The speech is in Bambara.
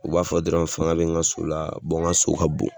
U b'a fɔ dɔrɔn fanga bɛ n ka so la n ka so ka bon.